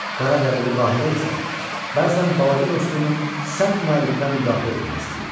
Qaradərili Bahirə isə bəzən balaca dostunu sərt müəllimdən müdafiə etmək istəyirdi.